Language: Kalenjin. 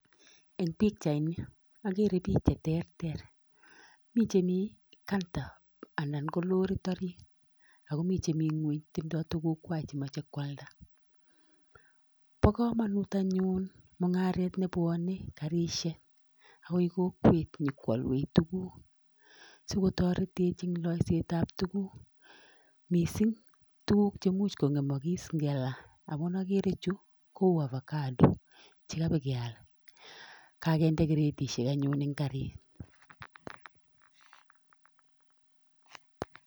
Eng pikchaini akere pich che terter, mi che mi kanta anan ko lorit orit, akomi che mi ngueny, tindoi tukukwai chemoche kwalda, bo kamanut anyun mungaret nebwone garisiek akoi kokwet nyokwolwech tukuk, sikotoretech eng loisetab tukuk, mising tukuk chemuch kongemakis ngela, amun akere chu kou avocado che kaba keal, kakinde kretisiek anyun eng garit.